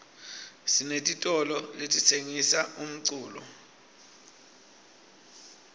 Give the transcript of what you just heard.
sinetitolole letitsengisa umculo